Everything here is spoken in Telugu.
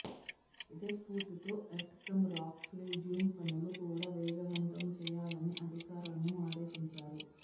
ఇదే స్ఫూర్తితో earth cum rock fill dam పనులు కూడా వేగవంతం చేయాలని అధికారులను ఆదేశించారు